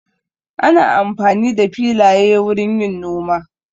Ana amfani da filaye wurin yin noma.